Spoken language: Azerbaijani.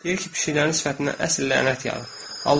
Deyir ki, pişiklərin sifətindən əsl lənət yağıb.